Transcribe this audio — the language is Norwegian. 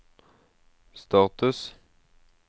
status